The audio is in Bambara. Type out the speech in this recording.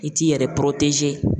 I t'i yɛrɛ